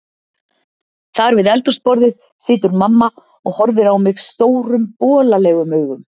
Þar við eldhúsborðið situr mamma og horfir á mig stórum bolalegum augum